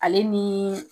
Ale ni